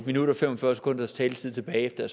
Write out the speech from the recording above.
minut og fem og fyrre sekunders taletid tilbage efter at